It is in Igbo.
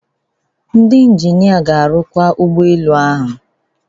Ndị injinia ga-arụkwa ụgbọ elu ahụ